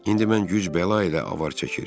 İndi mən güc bəla ilə avar çəkir.